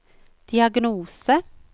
diagnose